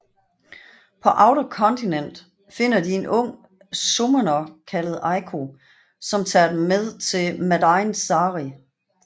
På Outer Continent finder de en ung summoner kaldet Eiko som tager dem med til Madain Sari